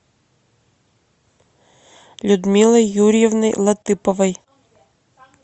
людмилой юрьевной латыповой